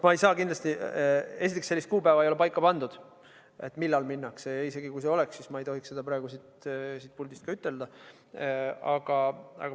Esiteks, sellist kuupäeva ei ole paika pandud, millal minnakse, ja isegi kui oleks, siis ma ei tohiks seda praegu siit puldist välja ütelda.